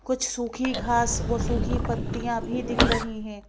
कुछ सूखी घास और सूखी पत्तियां भी दिख रही हैं।